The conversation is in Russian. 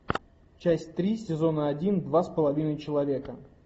часть три сезона один два с половиной человека